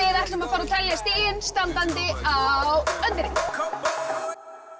ætlum að fara að telja stigin standandi á